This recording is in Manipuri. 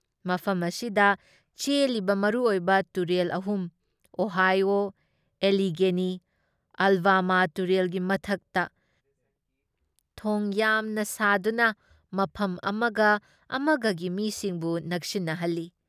ꯃꯐꯝ ꯑꯁꯤꯗ ꯆꯦꯜꯂꯤꯕ ꯃꯔꯨ ꯑꯣꯏꯕ ꯇꯨꯔꯦꯜ ꯑꯍꯨꯝ ꯑꯣꯍꯥꯏꯑꯣ, ꯑꯦꯂꯤꯒꯦꯅꯤ, ꯑꯥꯜꯕꯃꯥ ꯇꯨꯔꯦꯜꯒꯤ ꯃꯊꯛꯇ ꯊꯣꯡ ꯌꯥꯝꯅ ꯁꯥꯗꯨꯅ ꯃꯐꯝ ꯑꯃꯒ ꯑꯃꯒꯒꯤ ꯃꯤꯁꯤꯡꯕꯨ ꯅꯛꯁꯤꯟꯅꯍꯜꯂꯤ ꯫